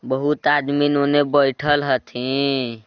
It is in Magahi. बहुत आदमी होने बइठल हथिन।